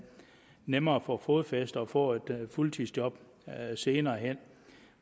nemmere at få fodfæste og få et fuldtidsjob senere hen